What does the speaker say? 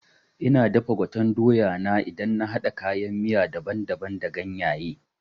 Ina dafa gwaten doya na idan na haɗa kayan miya daban daban da ganyaye